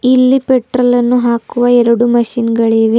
ಇಲ್ಲಿ ಪೆಟ್ರೋಲ್ ಅನ್ನು ಹಾಕುವ ಎರಡು ಮಷಿನ್ ಗಳಿವೆ.